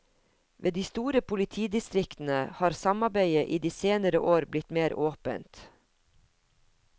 Ved de store politidistriktene har samarbeidet i de senere år blitt mer åpent.